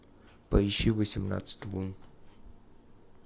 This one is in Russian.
поищи восемнадцать лун